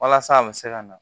Walasa a bɛ se ka na